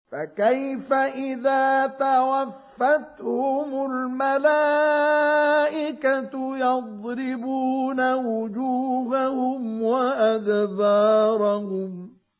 فَكَيْفَ إِذَا تَوَفَّتْهُمُ الْمَلَائِكَةُ يَضْرِبُونَ وُجُوهَهُمْ وَأَدْبَارَهُمْ